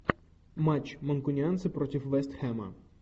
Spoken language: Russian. матч манкунианцы против вест хэма